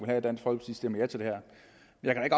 jeg